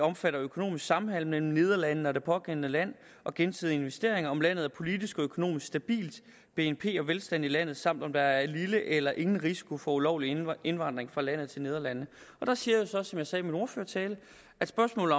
omfattende økonomisk samhandel mellem nederlandene og det pågældende land og gensidige investeringer om landet er politisk og økonomisk stabilt bnp og velstand i landet samt om der er lille eller ingen risiko for ulovlig indvandring fra landet til nederlandene der siger jeg så som jeg sagde i min ordførertale at spørgsmålet